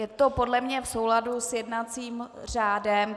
Je to podle mě v souladu s jednacím řádem.